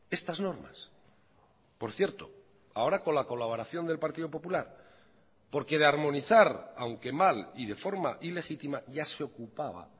estas normas por cierto ahora con la colaboración del partido popular porque de armonizar aunque mal y de forma ilegítima ya se ocupaba